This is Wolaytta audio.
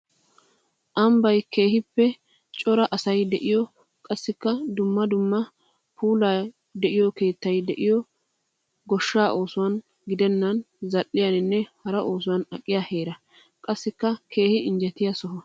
Ambbay keehippe cora asay de'iyo qassikka dumma dumma puula de'iyo keettay de'iyo goshsha oosuwan gidennani zali'iyaninne hara oosuwan aqiya heera. Qassikka keehi injjettiya soho.